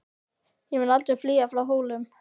Ég mun aldrei flýja frá Hólum!